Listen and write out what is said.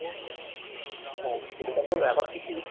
ওহ সেটা তো এমন কিছু